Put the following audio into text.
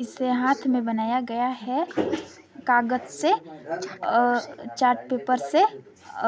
इसे हाथ में बनाया गया है कागज से और चार्ट पेपर से